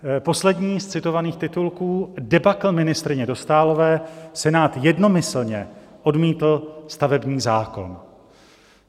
Poslední z citovaných titulků: "Debakl ministryně Dostálové, Senát jednomyslně odmítl stavební zákon."